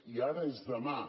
i ara és demà